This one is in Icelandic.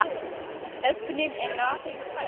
Ef ögnin er rafeind fæst